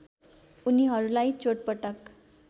उनीहरूलाई चोटपटक